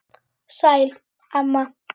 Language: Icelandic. Sæl, amma.